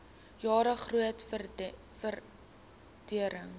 jare groot vordering